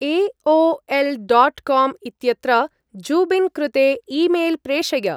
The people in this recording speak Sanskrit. ए. ओ. एल्. डाट् काम् इत्यत्र जुबिन् कृते ई्मेल् प्रेषय।